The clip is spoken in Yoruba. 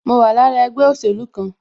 Mo wà lára ẹgbẹ́ òsèlú kan